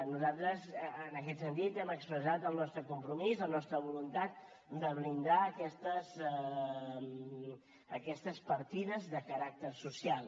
nosaltres en aquest sentit hem expressat el nostre compromís la nostra voluntat de blindar aquestes partides de caràcter social